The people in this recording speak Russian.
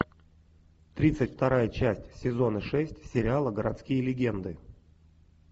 тридцать вторая часть сезона шесть сериала городские легенды